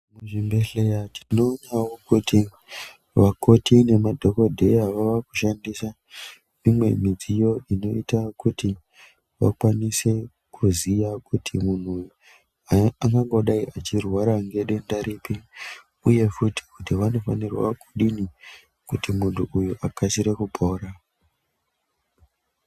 Muzvibhedhleya tinoonawo kuti vakoti nemadhokodheya vava kushandisa imwe midziyo inoita kuti vakwanise kuziya kuti muntu uyu angangodai achirwara ngedenda ripi uye futi kuti vanofanirwa kudini kuti muntu uyu akasire kupora.